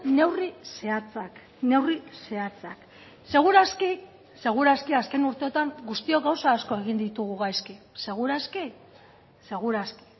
neurri zehatzak neurri zehatzak seguraski seguraski azken urteotan guztiok gauza asko egin ditugu gaizki seguraski seguraski